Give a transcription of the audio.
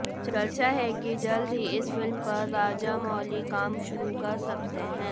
चर्चा है कि जल्द ही इस फिल्म पर राजामौली काम शुरू कर सकते हैं